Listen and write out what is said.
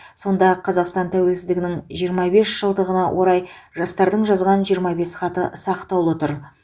сонда қазақстан тәуелсіздігінің жиырма бес жылдығына орай жастардың жазған жиырма бес хаты сақтаулы тұр